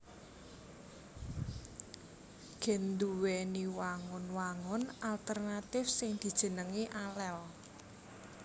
Gen nduwèni wangun wangun alternatif sing dijenengi alel